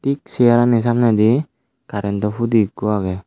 tik searani samnedi karentow hudi ikko agey.